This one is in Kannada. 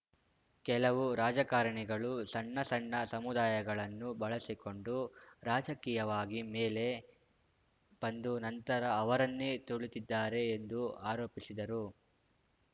ಕೆಲವು ರಾಜಕಾರಣಿಗಳು ಸಣ್ಣ ಸಣ್ಣ ಸಮುದಾಯಗಳನ್ನು ಬಳಸಿಕೊಂಡು ರಾಜಕೀಯವಾಗಿ ಮೇಲೆ ಬಂದು ನಂತರ ಅವರನ್ನೇ ತುಳಿದಿದ್ದಾರೆ ಎಂದು ಆರೋಪಿಸಿದರು